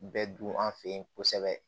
Bɛ dun an fɛ yen kosɛbɛ